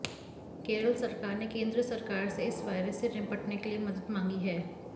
केरल सरकार ने केंद्र सरकार से इस वायरस से निपटने के लिए मदद मांगी है